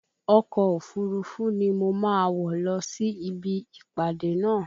Ọkọ̀ òfurufú ni mo wọ̀ lọ sí ibi ìpàdé náà